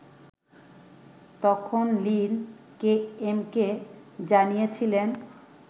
তখন Lin KMK জানিয়েছিলেন